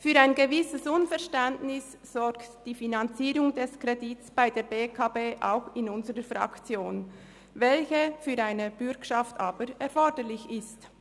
Für ein gewisses Unverständnis sorgt die Finanzierung des Kredits bei der BEKB auch in unserer Fraktion, für welche eine Bürgschaft aber erforderlich ist.